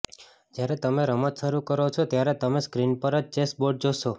જ્યારે તમે રમત શરૂ કરો છો ત્યારે તમે સ્ક્રીન પર જ ચેસ બોર્ડ જોશો